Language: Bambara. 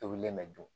Tobilen mɛ dun